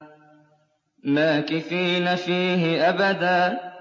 مَّاكِثِينَ فِيهِ أَبَدًا